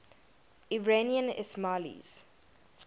iranian ismailis